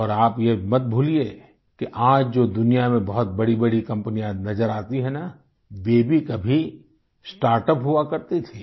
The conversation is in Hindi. और आप ये मत भूलिये कि आज जो दुनिया में बहुत बड़ीबड़ी कम्पनियाँ नज़र आती हैं ना ये भी कभी स्टार्टअप हुआ करती थी